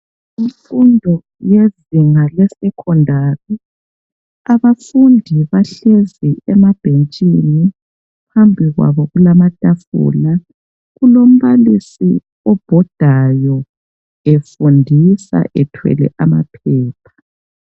Imfundo yezinga lesecondary. Abafundi bahlezi emabhentshini. Phambi kwabo kulamatafula. Kulombalisi obhodayo, efundisa, ethwele amaphepha.